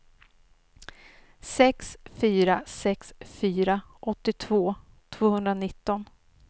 sex fyra sex fyra åttiotvå tvåhundranitton